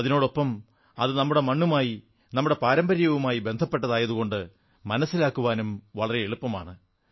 അതിനൊപ്പം അത് നമ്മുടെ മണ്ണുമായി നമ്മുടെ പാരമ്പര്യവുമായി ബന്ധപ്പെട്ടതായതുകൊണ്ട് മനസ്സിലാക്കാനും വളരെ എളുപ്പമാണ്